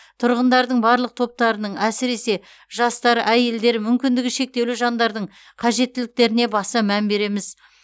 тұрғындардың барлық топтарының әсіресе жастар әйелдер мүмкіндігі шектеулі жандардың қажеттіліктеріне баса мән береміз